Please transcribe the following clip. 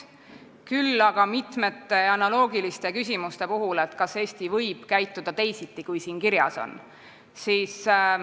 Küll aga oli jutuks mitu analoogilist küsimust, et kas Eesti võib käituda teisiti, kui siin kirjas on.